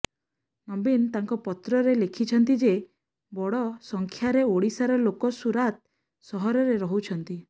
ନବୀନ ତାଙ୍କ ପତ୍ରରେ ଲେଖିଛନ୍ତିଯେ ବଡ଼ ସଂଖ୍ୟାରେ ଓଡ଼ିଶାର ଲୋକ ସୁରାତ ସହରରେ ରହୁଛନ୍ତି